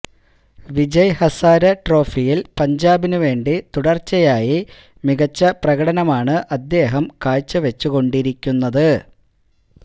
വിജയ് ഹസാരെ ട്രോഫിയില് പഞ്ചാബിനു വേണ്ടി തുടര്ച്ചയായി മികച്ച പ്രകടനമാണ് അദ്ദേഹം കാഴ്ചവച്ചു കൊണ്ടിരിക്കുന്നത്